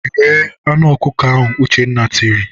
"Ghee anụ ọkụkọ ahụ!" Uchenna tiri.